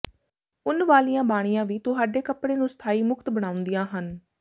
ਉੱਨ ਵਾਲੀਆਂ ਬਾਣੀਆਂ ਵੀ ਤੁਹਾਡੇ ਕੱਪੜੇ ਨੂੰ ਸਥਾਈ ਮੁਕਤ ਬਣਾਉਂਦੀਆਂ ਹਨ